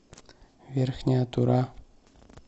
верхняя тура